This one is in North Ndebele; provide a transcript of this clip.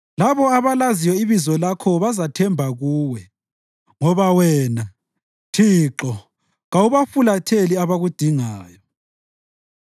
Labo abalaziyo ibizo lakho bazathemba kuwe, ngoba wena, Thixo, kawubafulatheli abakudingayo.